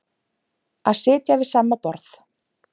Að sitja við sama borð